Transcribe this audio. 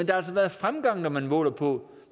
der har været fremgang når man måler på